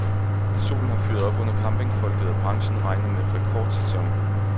Solen har fyret op under campingfolket og branchen regner med rekordsæson.